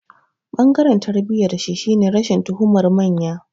Ɓangaren tarbiyyarshi shine rashin tuhumar manya ba.